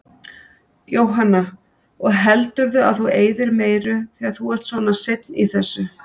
Jóhanna: Og heldurðu að þú eyðir meiru þegar þú ert svona seinn í þessu?